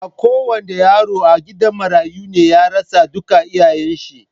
Ba ko wanda yaro a gidan marayu ne ya rasa duka iyayen shi.